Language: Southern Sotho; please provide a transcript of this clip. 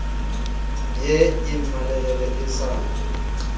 ye e mmalehele e sa